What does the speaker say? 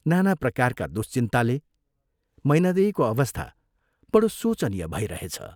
नाना प्रकारका दुश्चिन्ताले मैनादेवीको अवस्था बड़ो शोचनीय भैरहेछ।